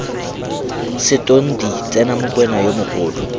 setonti tsena mokwena yo mogolo